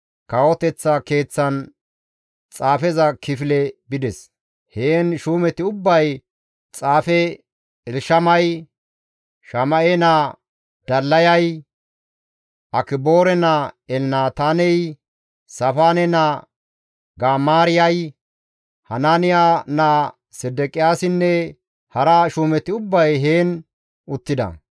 kawoteththa keeththan xaafeza kifile bides; heen shuumeti ubbay xaafe Elshamay, Shama7e naa Dallayay, Akiboore naa Elnataaney, Saafaane naa Gamaariyay, Hanaaniya naa Sedeqiyaasinne hara shuumeti ubbay heen uttida.